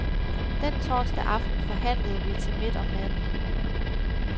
Den torsdag aften forhandlede vi til midt om natten.